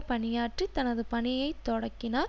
பணியாற்றி தனது பணியை தொடக்கினார்